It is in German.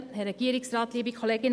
Kommissionssprecherin